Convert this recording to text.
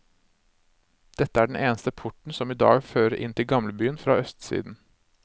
Dette er den eneste porten som i dag fører inn til gamlebyen fra østsiden.